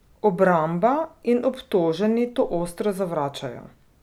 Obramba in obtoženi to ostro zavračajo.